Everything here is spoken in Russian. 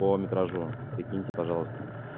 по метражу перекиньте пожалуйста